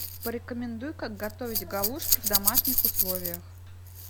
порекомендуй как готовить галушки в домашних условиях